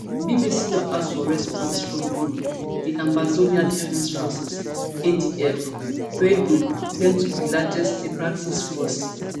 bbc don ask for response from um di ambazonia defense forces adf wey um claim to be di largest separatist force